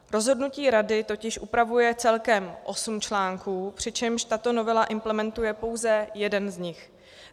Rozhodnutí Rady totiž upravuje celkem osm článků, přičemž tato novela implementuje pouze jeden z nich.